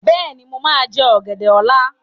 Bẹ́ẹ̀ni, mo máa jẹ ọ̀gẹ̀dẹ̀ ọ́la.